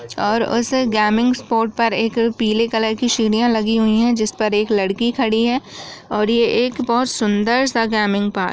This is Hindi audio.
और उस गेमिंग स्पोर्ट पर पीले कलर की सीढ़ियां लगी हुई है जिस पर एक लड़की खड़ी है और यह एक बहुत सुंदर सा गेमिंग पार्क --